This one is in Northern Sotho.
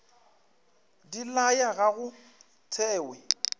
di laya ga go thewe